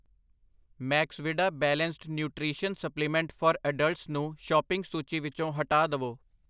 Maxvida balanced nutrition supplement for adults ਨੂੰ shopping ਸੂਚੀ ਵਿੱਚੋ ਹਟਾ ਦਵੋ I